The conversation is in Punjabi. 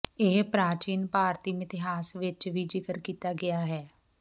ਇਹ ਪ੍ਰਾਚੀਨ ਭਾਰਤੀ ਮਿਥਿਹਾਸ ਵਿਚ ਵੀ ਜ਼ਿਕਰ ਕੀਤਾ ਗਿਆ ਹੈ